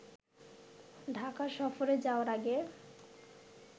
ঢাকা সফরে যাওয়ার আগে